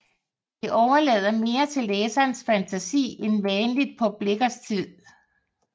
Det overlader mere til læserens fantasi end vanligt på Blichers tid